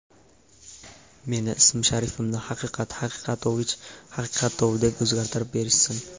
Meni ismi-sharifimni Haqiqat Haqiqatovich Haqiqatov deb o‘zgartirib berishsin.